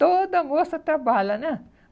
Toda moça trabalha, né?